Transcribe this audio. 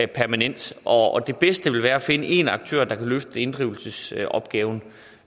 permanent og at det bedste vil være at finde én aktør der kan løfte inddrivelsesopgaven